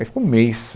Aí ficou um mês.